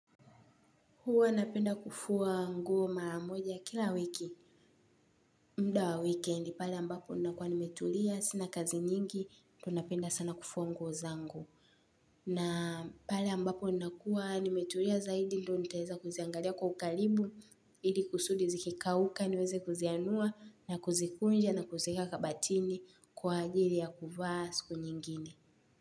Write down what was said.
Huwa napenda kufua nguo mara moja kila wiki. Muda wa wikendi pale ambapo ninakua nimetulia, sina kazi nyingi tu napenda sana kufua nguo zangu. Na pale ambapo nakua nimetulia zaidi ndio nitaeza kuziangalia kwa ukaribu, ili kusudi zikikauka niweze kuzianua na kuzikunja na kuzieka kabatini kwa ajili ya kuvaa siku nyingine.